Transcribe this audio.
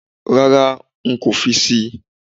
Rárá, nkò fi síi